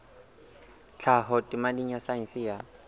tlhaho temeng ya saense ya